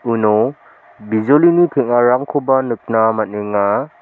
uno bijolini teng·arangkoba nikna man·enga.